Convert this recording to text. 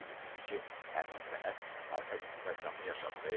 Qeyd edildi ki, həmin sənəd Arkadi Qukasyanın yaşadığı evdə aşkarlandıb.